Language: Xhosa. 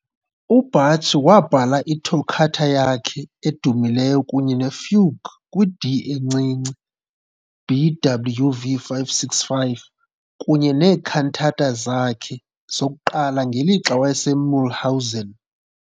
UBach wabhala iToccata yakhe edumileyo kunye neFugue kwi-D encinci, BWV 565, kunye nee-cantata zakhe zokuqala ngelixa wayeseMühlhausen.